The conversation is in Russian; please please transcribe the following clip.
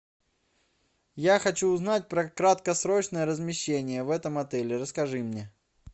я хочу узнать про краткосрочное размещение в этом отеле расскажи мне